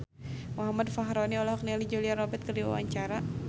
Muhammad Fachroni olohok ningali Julia Robert keur diwawancara